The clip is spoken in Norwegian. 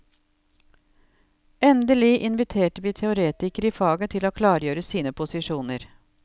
Endelig inviterte vi teoretikere i faget til å klargjøre sine posisjoner.